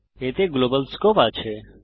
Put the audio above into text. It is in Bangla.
এতে গ্লোবাল স্কোপ আছে